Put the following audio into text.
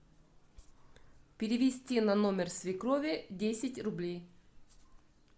перевести на номер свекрови десять рублей